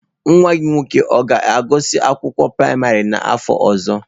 Nwa gị nwoke ọ ga-agụsị akwụkwọ praịmarị n'afọ ọzọ?